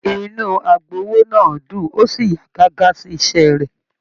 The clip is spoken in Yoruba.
Inú agbowó náà dún o sí yà gágá sí iṣẹ rẹ.